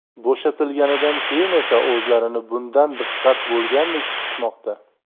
Bo‘shatilganidan keyin esa o‘zlarini bundan diqqat bo‘lgandek tutishmoqda.